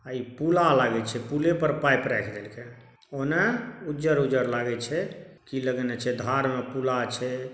आ इ पूला लागई छै पुले पर पाइप रायेख देलके ओना उजर-उजर लागे छै की लगेने छै धार मे पूला छै।